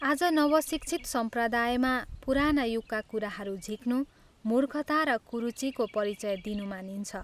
आज नवशिक्षित सम्प्रदायमा पुराना युगका कुराहरू झिक्नु मूर्खता र कुरुचिको परिचय दिनु मानिन्छ।